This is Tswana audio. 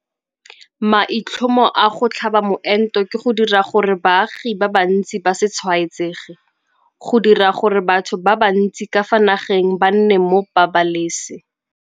Maitlhomo a go tlhaba moento ke go dira gore baagi ba bantsi ba se tshwaetsege - go dira gore batho ba bantsi ka fa nageng ba nne mo pabalese